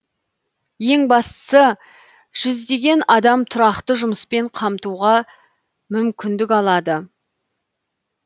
ең бастысы жүздеген адам тұрақты жұмыспен қамтуға мүмкіндік алады